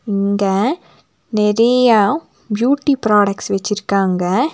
இங்க நெறையா beauty products வெச்சிருக்காங்க.